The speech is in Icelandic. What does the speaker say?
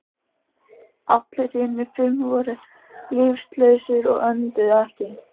Allir hinir fimm voru líflausir og önduðu ekki.